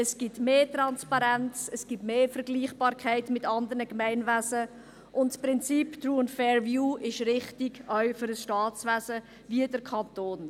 Es gibt mehr Transparenz, es gibt mehr Vergleichbarkeit mit anderen Gemeinwesen, und das Prinzip «True and Fair View» ist richtig, auch für ein Staatswesen wie den Kanton.